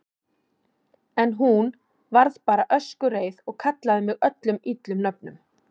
En hún. varð bara öskureið og kallaði mig öllum illum nöfnum.